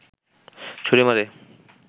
ছুড়ে মারে